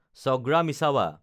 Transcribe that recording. ছগ্ৰা মিছাৱা